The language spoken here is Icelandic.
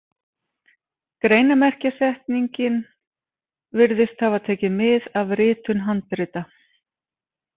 Greinarmerkjasetningin virðist hafa tekið mið af ritun handrita.